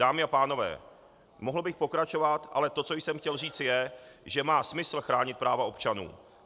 Dámy a pánové, mohl bych pokračovat, ale to, co jsem chtěl říct je, že má smysl chránit práva občanů.